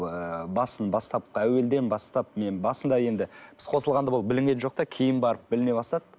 ыыы басын бастапқы әуелден бастап мен басында енді біз қосылғанда ол білінген жоқ та кейін барып біліне бастады